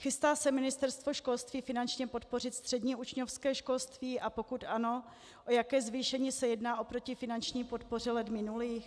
Chystá se Ministerstvo školství finančně podpořit střední učňovské školství, a pokud ano, o jaké zvýšení se jedná oproti finanční podpoře let minulých?